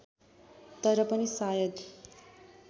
तर पनि सायद